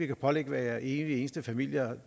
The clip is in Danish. kan pålægge hver evig eneste familie